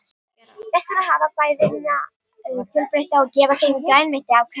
Best er að hafa fæðuna fjölbreytta og gefa þeim grænmeti á hverjum degi.